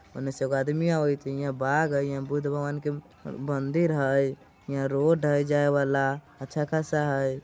उन्ने से एगो आदमी आबत होई। हे हियाँ बाग हइ। यहाँ बुध भगवान के मंदिर हइ। हियाँ रोड हइ जाय वाला अच्छा खासा हइ।